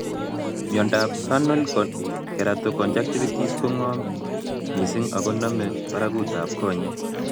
Miondop Vernal keratoconjunctivitis ko ng'om nmising' ako namei parakut ab konyek